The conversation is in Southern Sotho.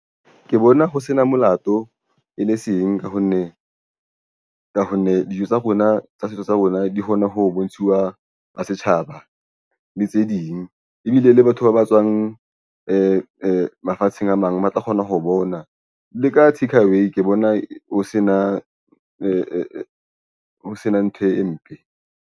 Ke bona ho sena molato e le seng ka ho nne ka ho nne dijo tsa rona tsa setso sa rona di kgone ho bontshiwa la setjhaba le tse ding ebile ile le batho ba ba tswang mafatsheng a mang ba tla kgona ho bona le ka takeaway ke bona ho sena ntho e mpe.